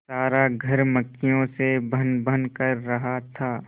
सारा घर मक्खियों से भनभन कर रहा था